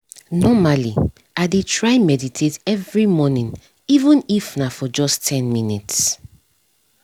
normally i dey try meditate every morning even if na just for ten minutes